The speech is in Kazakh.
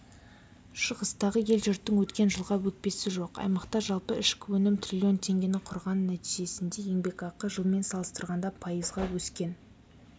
шығыстағы ел-жұрттың өткен жылға өкпесі жоқ аймақта жалпы ішкі өнім триллион теңгені құрған нәтижесінде еңбекақы жылмен салыстырғанда пайызға өскен